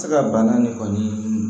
Tɛ se ka bana nin kɔni